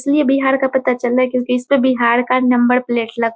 इसलिए बिहार का पता चल रहा है क्योंकि इस पे बिहार का नंबर प्लेट ल --